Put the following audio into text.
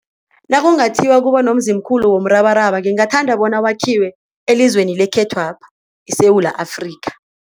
Nakungathiwa kuba nomzimkhulu womrabaraba ngingathanda bona wakhiwe elizweni lekhethwapha, iSewula Afrika.